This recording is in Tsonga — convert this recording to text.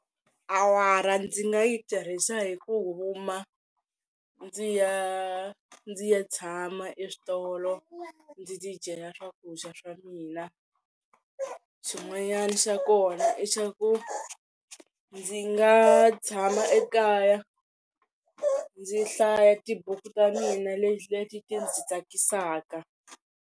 Awara ndzi nga yi tirhisa hi ku huma ndzi ya ndzi ya tshama eswitolo ndzi ti dyela swakudya swa mina, xin'wanyana xa kona i xa ku ndzi nga tshama ekaya ndzi hlaya tibuku ta mina leti ti ndzi tsakisaka.